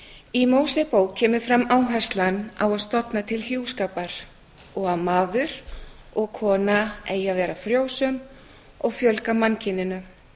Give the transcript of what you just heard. í mósebók kemur fram áherslan á að stofna til hjúskapar og að maður og kona eigi að vera frjósöm og fjölga mannkyninu